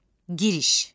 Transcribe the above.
Giriş.